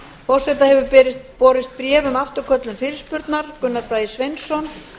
forseta hefur borist bréf um afturköllun fyrirspurnar gunnar bragi sveinsson